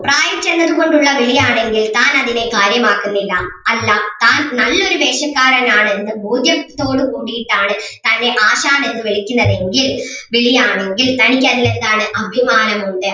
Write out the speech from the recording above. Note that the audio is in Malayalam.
പ്രായം ചെന്നത് കൊണ്ടുള്ള വിളി ആണെങ്കിൽ താൻ അതിനെ കാര്യമാക്കുന്നില്ല അല്ല താൻ നല്ലൊരു വേഷക്കാരൻ ആണെന്ന് ബോധ്യത്തോടുകൂടീട്ടാണ് തന്നെ ആശാൻ എന്ന് വിളിക്കുന്നതെങ്കിൽ വിളി ആണെങ്കിൽ തനിക്ക് അതിൽ എന്താണ് അഭിമാനം ഉണ്ട്